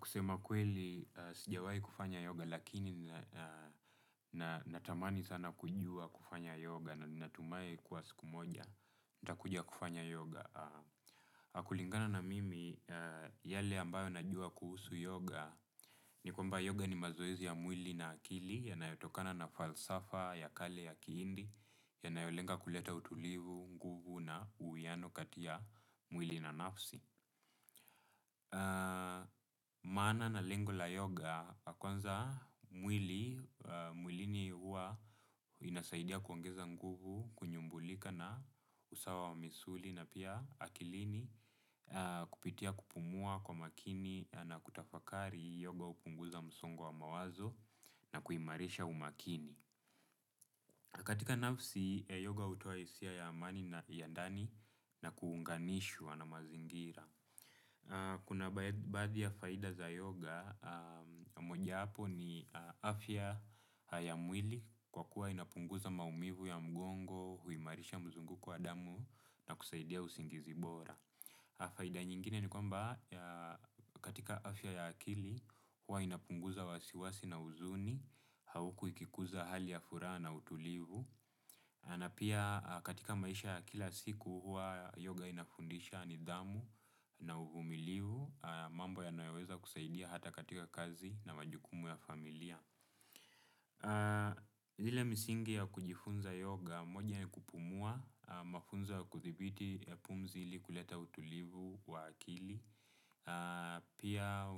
Kusema kweli, sijawahi kufanya yoga, lakini natamani sana kujua kufanya yoga na natumaye kuwa siku moja. Ntakuja kufanya yoga. Kulingana na mimi, yale ambayo najua kuhusu yoga, ni kwamba yoga ni mazoezi ya mwili na akili, yanayotokana na falsafa ya kale ya kihindi yanayolenga kuleta utulivu kuna uwiano kati ya mwili na nafsi. Maana na lengo la yoga ya kwanza mwili. Mwilini huwa inasaidia kuongeza nguvu. Kunyumbulika na usawa wa misuli na pia akilini kupitia kupumua kwa makini na kutafakari yoga hupunguza msongo wa mawazo na kuimarisha umakini katika nafsi yoga hutoa hisia ya amani na ya ndani na kuunganishwa na mazingira. Kuna baadhi ya faida za yoga, moja hapo ni afya ya mwili kwa kuwa inapunguza maumivu ya mgongo, huimarisha mzunguko wa damu na kusaidia usingizi bora. Faida nyingine ni kwamba katika afya ya akili, huwa inapunguza wasiwasi na uzuni, hauku ikikuza hali ya furaha na utulivu. Na pia katika maisha ya kila siku, huwa yoga inafundisha nidhamu na uvumilivu, mambo yanayo weza kusaidia hata katika kazi na majukumu ya familia. Ile misingi ya kujifunza yoga moja ni kupumua, mafunzo ya kuthibiti ya pumzili kuleta utulivu wa akili, pia